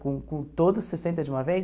Com com todos sessenta de uma vez?